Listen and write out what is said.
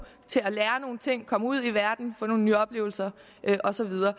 til at lære nogle ting komme ud i verden få nogle nye oplevelser og så videre